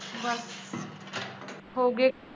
ਬੱਸ। ਹੋ ਗਏ।